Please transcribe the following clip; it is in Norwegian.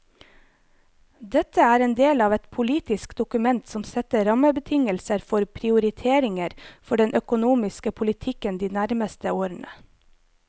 Dette er en del av et politisk dokument som setter rammebetingelser for prioriteringer for den økonomiske politikken de nærmeste årene.